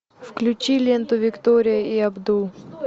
включи ленту виктория и абдул